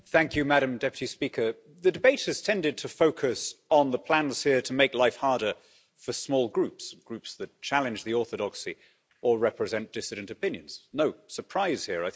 Madam President, the debate has tended to focus on the plans here to make life harder for small Groups Groups that challenge the orthodoxy or represent dissident opinions. No surprise here